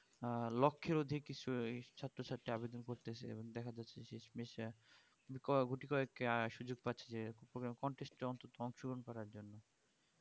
আহ লক্ষের অধিক কিছুই ছাত্র ছাত্রী করতেছে এবং দেখা যাচ্ছে যে ক~গুটি কয়েক আহ সুযোগ পাচ্ছে program contest অন্তত অংশগ্রহণ করার জন্য